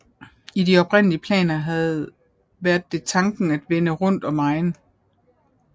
I de oprindelige planer havde været det tanken at vende rundt om egen